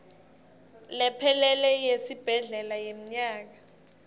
lephelele yesibhedlela yemnyaka